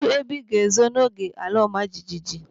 Kedụ ebe ịga ezo n'oge ala ọma jijiji?